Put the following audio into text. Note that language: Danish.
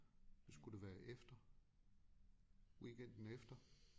Så skulle det være efter weekenden efter